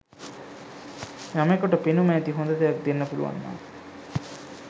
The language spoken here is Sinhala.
යමෙකුට පෙනුම ඇති හොඳ දෙයක් දෙන්න පුළුවන් නම්